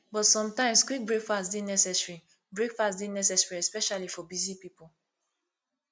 but sometimes quick breakfast dey necessary breakfast dey necessary especially for busy people